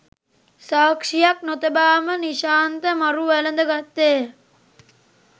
සාක්ෂියක් නොතබාම නිශාන්ත මරු වැළඳ ගත්තේය.